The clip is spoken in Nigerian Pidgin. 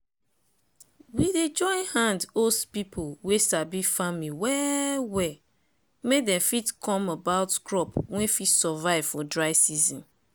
we dey join hand host people wey sabi farming well well make dem fit come about crop wey fit survive for dry season.